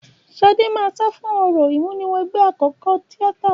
Ṣadé máa sá fún orò ìmúniwẹgbẹ́ akẹ́kọ̀ọ́ tíátà